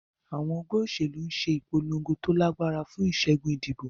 Àwọn ẹgbẹ́ òṣèlú ń ṣe ìpolongo tó lágbára fún ìṣẹ́gun ìdìbò.